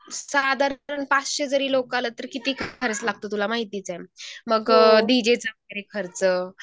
साधारणपणे पाचशे जरी लोकं आले तरी किती खर्च लागतो तुला माहितीच आहे. मग डीजेचा वगैरे खर्च